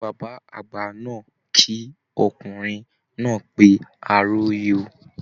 Bàbá àgbà náà kí ọkùnrin náà pé a róyè o